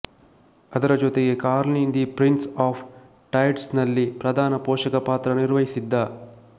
ಅದರ ಜೊತೆಗೆ Carlin the prince of tides ನಲ್ಲಿ ಪ್ರಧಾನ ಪೋಷಕ ಪಾತ್ರ ನಿರ್ವಹಿಸಿದ್ದ